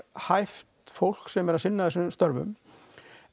hæft fólk sem er að sinna þessum störfum